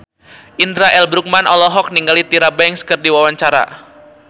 Indra L. Bruggman olohok ningali Tyra Banks keur diwawancara